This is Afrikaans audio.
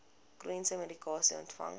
chroniese medikasie ontvang